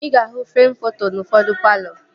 Ị ga-ahụ freem foto n'ufodu palọ